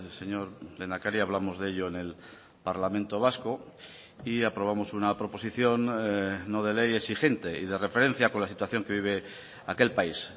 señor lehendakari hablamos de ello en el parlamento vasco y aprobamos una proposición no de ley exigente y de referencia con la situación que vive aquel país